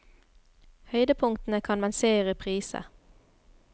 Høydepunktene kan man se i reprise.